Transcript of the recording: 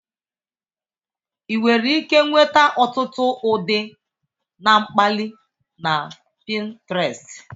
Ị nwere ike nweta ọtụtụ ụdị na mkpali na Pintrest.